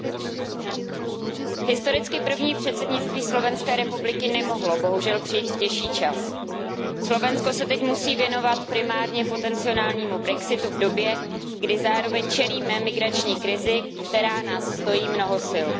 Pane předsedající, historicky první předsednictví Slovenské republiky nemohlo bohužel přijít v těžší čas. Slovensko se teď musí věnovat primárně potencionálnímu Brexitu v době, kdy zároveň čelíme migrační krizi, která nás stojí mnoho sil.